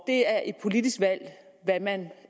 det er et politisk valg hvad man